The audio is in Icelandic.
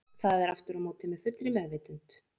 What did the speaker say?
Það er aftur á móti með fullri meðvitund.